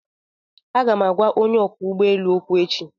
Aga m agwa onye ọkwọ ụgbọ elu okwu echi